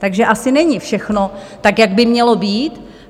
Takže asi není všechno tak, jak by mělo být.